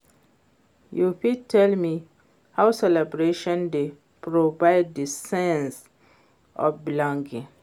You fit tell me how celebration dey provide di sense of belonging?